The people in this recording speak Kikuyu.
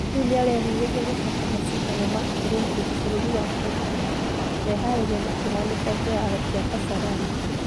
Rĩu niarehuheria gũcoka mashidano ma Olympic fũruri wa Tokyo , meharĩria makĩhanika kĩharo gĩa kasarani.